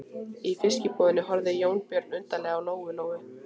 Í fiskbúðinni horfði Jónbjörn undarlega á Lóu Lóu.